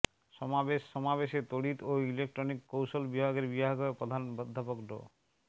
সমাবেশ সমাবেশে তড়িৎ ও ইলেকট্রনিক কৌশল বিভাগের বিভাগীয় প্রধান অধ্যাপক ড